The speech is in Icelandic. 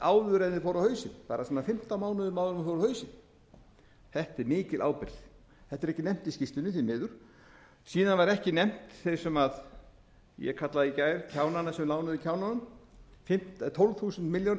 áður en þeir fóru á hausinn bara svona fimmtán mánuðum áður en þeir fóru á hausinn þetta er mikil ábyrgð þetta er ekki nefnt í skýrslunni því miður síðan voru ekki nefndir þeir sem ég kallaði í gær kjánana sem lánuðu kjánunum tólf þúsund